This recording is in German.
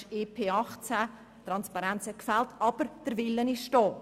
Die Transparenz hat gefehlt, aber der Wille ist da.